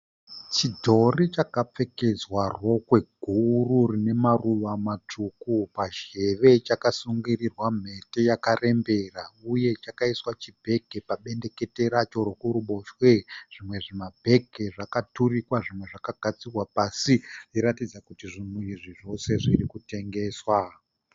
Chidhori chakapfekedzwa rokwe guru rine maruva matsvuku. Pazheve chakasungirirwa mhete yakarembera uye chakaiswa chibhegi pabendekete racho rekuruboshwe. Zvimwe zvimabhegi zvakaturikwa zvimwe zvakagadzikwa pasi zvichiratidza kuti zvinhu izvi zvose zvirikutengeswa.